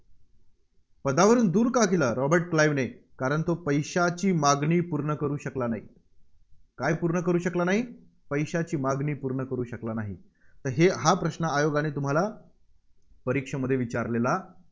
पदावरून दूर का केलं, रॉबर्ट क्लाईव्हने? कारण तो पैशाची मागणी पूर्ण करू शकला नाही. काय पूर्ण करू शकला नाही? पैशाची मागणी पूर्ण करू शकला नाही. तर हेहा प्रश्न आयोगाने तुम्हाला परीक्षेमध्ये विचारलेला